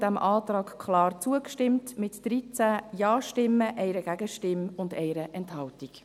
Die Kommission stimmte dem Antrag klar zu, mit 13 Ja-Stimmen, 1 Gegenstimme und 1 Enthaltung.